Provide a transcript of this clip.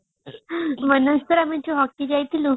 ମନେଅଛି ଥରେ ଆମେ ଯୋଉ hocky ଯାଇଥିଲୁ